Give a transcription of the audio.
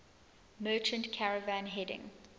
merchant caravan heading